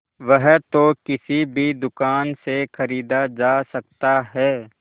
वह तो किसी भी दुकान से खरीदा जा सकता है